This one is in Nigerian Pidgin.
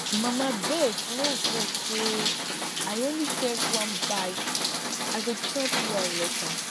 mama abeg no vex say i only take one bite i go chop well later